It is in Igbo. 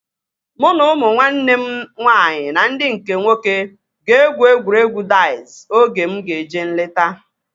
Mụ na ụmụ nwanne m nwaanyị ndị nke nwoke egwu egwuregwu daiz oge mụ ga-eje nleta